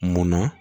Munna